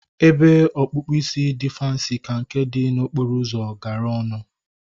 Ebe ọkpụkpụ isi dị fansi ka nke dị n'okporo ụzọ gara ọnụ